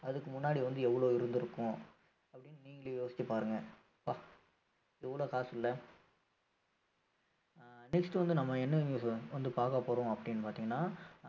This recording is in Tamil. அதுக்கு முன்னாடி வந்து எவ்வளவு இருந்திருக்கும் அப்படின்னு நீங்களே யோசிச்சு பாருங்க ப்பா எவ்வளவு காசு இல்ல ஆஹ் next வந்து நம்ம என்ன news வந்து பார்க்க போறோம் அப்படீன்னு பார்த்தீங்கன்னா